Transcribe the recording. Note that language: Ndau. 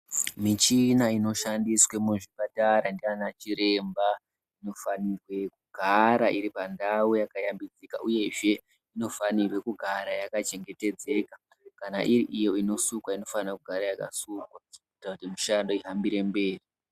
Michina inoshandiswe muzvipatara naana chiremba inofanirwe kugara iripandau yakashambidzika uyezve inofanire kugara yakachengetedzeka, kana iri iyo inosukwa inofanire kugara yakasukwa, kuitire kuti mishando ihambire mberi.